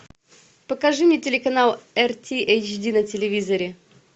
покажи мне телеканал эр ти эйч ди на телевизоре